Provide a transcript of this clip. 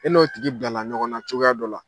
E n'o tigi bilala ɲɔgɔn na cogoya dɔ la